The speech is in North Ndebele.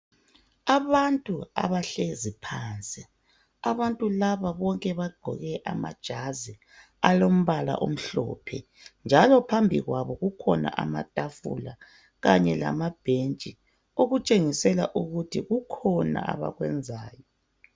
Abantu abahlezi phansi, abantu bonke laba bagqoke amajazi alombala omhlophe njalo phambi kwabo kukhona amatafula kanye lama bhentshi. Okutshengisela ukuthi kukhona abakwenzayo.